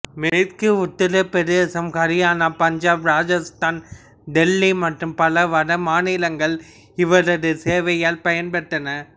மேற்கு உத்திரப் பிரதேசம் ஹரியானா பஞ்சாப் ராஜஸ்தான் டெல்லி மற்றும் பல வட மாநிலங்கள் இவரது சேவையால் பயன் பெற்றன